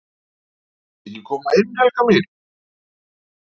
"""VILTU EKKI KOMA INN, HELGA MÍN!"""